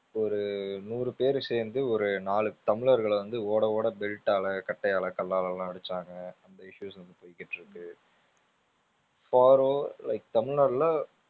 ஒரு நூறு பேரு சேந்து ஒரு நாலு தமிழர்களை வந்து ஓட ஓட belt ஆல, கட்டையால, கல்லால எல்லாம் அடிச்சாங்க அந்த issues வந்து போயிக்கிட்டு இருக்கு for over like தமிழ்நாடுல